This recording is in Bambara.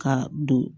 Ka don